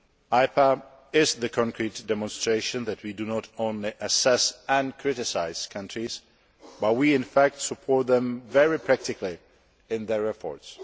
IPA is the concrete demonstration that we do not only assess and criticise countries, but we, in fact, support them very practically in their efforts.